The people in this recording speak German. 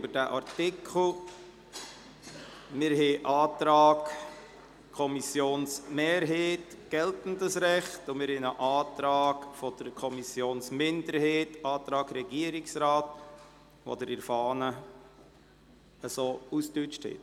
Es liegt uns ein Antrag der Kommissionsmehrheit vor – geltendes Recht –, und wir haben einen Antrag der Kommissionsminderheit und des Regierungsrats, den Sie in der Fahne ausgedeutscht vorfinden.